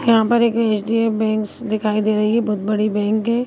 यहाॅॅं पर एक HDF. Banks दिखाई दे रही है। बहोत बड़ी बैंक है।